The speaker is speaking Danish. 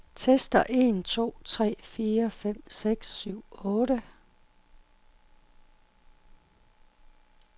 Tester en to tre fire fem seks syv otte.